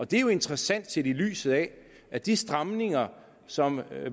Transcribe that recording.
det er jo interessant set i lyset af at de stramninger som